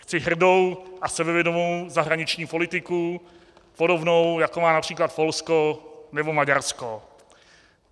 Chci hrdou a sebevědomou zahraniční politiku podobnou, jako má například Polsko nebo Maďarsko.